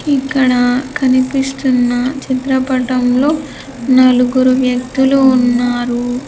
ఇక్కడ కనిపిస్తున్న చిత్రపటంలో నలుగురు వ్యక్తులు ఉన్నారూ.